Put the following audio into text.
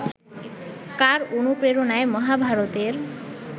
কার অনুপ্রেরণায় মহাভারতের